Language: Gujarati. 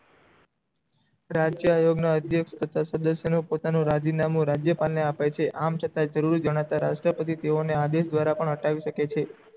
રાજ્ય આયોગ ના અધ્યક્ષ તથા ના સદસ્ય પોતાનું રાજી નામું રાજ્યપાલ ને આપે છે આમ છતાં જરૂરી જનાત્ર રાજ્ય તેવોએ ને આદેશ દ્વારા પણ હટાવી કે છે